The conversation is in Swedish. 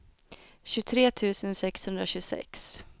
tjugotre tusen sexhundratjugosex